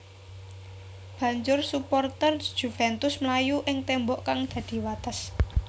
Banjur suporter Juventus mlayu ing témbok kang dadi wates